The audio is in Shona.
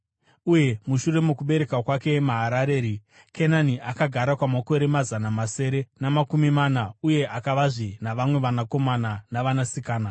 Uye mushure mokubereka kwake Maharareri, Kenani akagara kwamakore mazana masere namakumi mana uye akavazve navamwe vanakomana navanasikana.